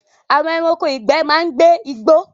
Àwọn ẹranko ìgbẹ́ máa ń gbé igbó